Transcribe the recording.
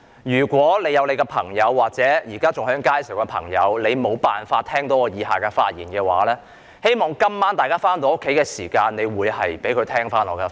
如果大家的朋友或現時還在街上的朋友無法聽到我以下的發言，希望各位今晚回家後可以收聽會議的錄音。